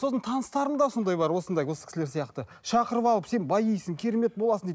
сосын таныстарым да сондай бар осындай осы кісілер сияқты шақырып алып сен баисың керемет боласың дейді